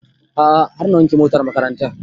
A'a har na wanke motar makarantan